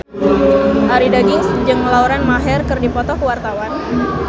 Arie Daginks jeung Lauren Maher keur dipoto ku wartawan